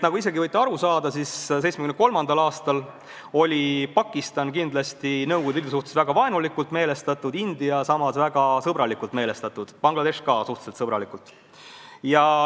Nagu võite ise ka aru saada, 1973. aastal oli Pakistan kindlasti Nõukogude Liidu suhtes väga vaenulikult meelestatud, India samas väga sõbralikult meelestatud, Bangladesh ka suhteliselt sõbralikult.